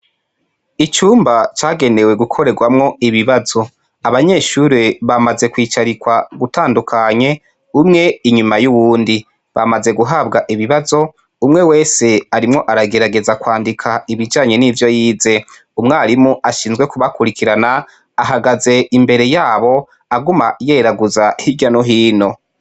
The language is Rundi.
Icumba cagenewe gukoregwamwo ibibazo; abanyeshure bamaze kwicarikwa ugutandukanye umwe inyuma y'uwundi. Bamaze guhabwa ibibazo; Umwewese ariko aragerageza kwandika ibijanye n'ivyoyize. Umwarimu ashinzwe kubakurikirana ahagaze imbere yabo aguma yeraguza hirya nohino.